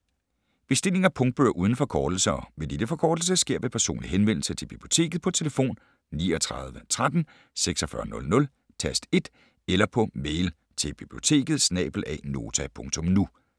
Bestilling af punktbøger uden forkortelse og med lille forkortelse sker ved personlig henvendelse til Biblioteket på telefon 39 13 46 00, tast 1, eller på mail til biblioteket@nota.nu